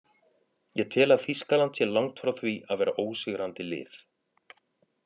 Ég tel að Þýskaland sé langt frá því að vera ósigrandi lið.